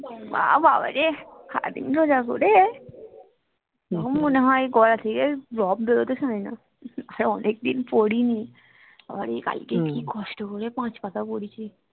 বা বাবা রে সারাদিন রোজা করে তখন মনে হয় গলা থেকে রব বেরোতে চায় না আর অনেক দিন পড়িনি বাবা রে কালকে কি কষ্ট করে পাঁচ পাতা পড়েছি